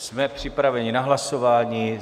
Jsme připraveni na hlasování.